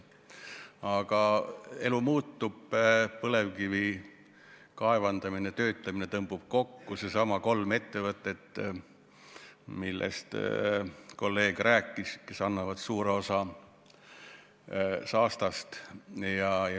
Aga elu muutub, põlevkivi kaevandamine ja töötlemine tõmbub kokku, see puudutab neidsamu kolme ettevõtet, millest kolleeg rääkis, mis annavad suure osa saastast.